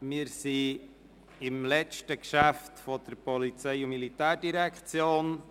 Wir sind beim letzten Geschäft der POM angelangt.